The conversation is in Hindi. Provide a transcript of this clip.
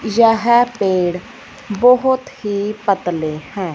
यह पेड़ बहोत ही पतले हैं।